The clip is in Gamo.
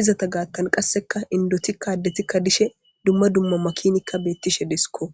izeta gaathan kaseka indotika addetika dishe duma duma duma makinika beetishe de'esiko.